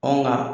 Ɔ nka